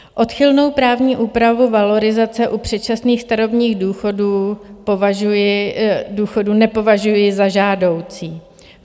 Odchylnou právní úpravu valorizace u předčasných starobních důchodů nepovažuji za žádoucí.